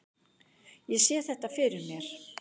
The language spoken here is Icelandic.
Ég sé þetta fyrir mér.